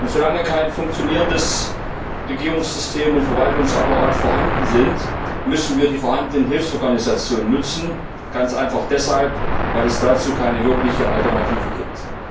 Solange kein funktionierendes Regierungssystem und kein funktionierender Verwaltungsapparat vorhanden sind, müssen wir die vorhandenen Hilfsorganisationen nutzen, ganz einfach deshalb, weil es dazu keine wirkliche Alternative gibt.